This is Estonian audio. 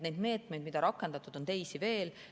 Neid meetmeid, mida on rakendatud, on teisi veel.